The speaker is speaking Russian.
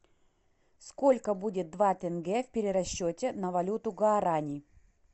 сколько будет два тенге в перерасчете на валюту гуарани